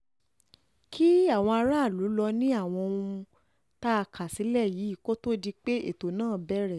kí àwọn aráàlú lọ́ọ́ ní àwọn ohun tá a kà sílẹ̀ yìí kó tóó di pé ètò náà bẹ̀rẹ̀